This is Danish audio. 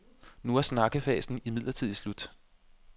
Nu er snakkefasen imidlertid slut.